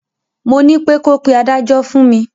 Mo nípé ko pe adájọ́ fún mi.